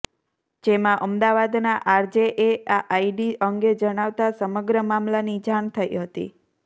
જેમાં અમદાવાદના આરજે એ આ આઈડી અંગે જાણવતા સમગ્ર મામલાની જાણ થઈ હતી